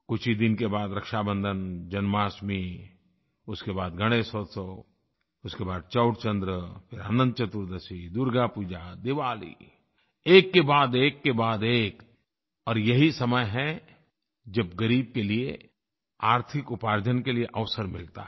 कुछ ही दिन के बाद रक्षाबंधन जन्माष्टमी उसके बाद गणेश उत्सव उसके बाद चौथ चन्द्र फिर अनंत चतुर्दशी दुर्गा पूजा दिवाली एककेबाद एककेबादएक और यही समय है जब ग़रीब के लिये आर्थिक उपार्जन के लिये अवसर मिलता है